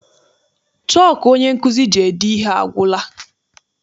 Chọku onye nkụzi ji ede ihe agwụla.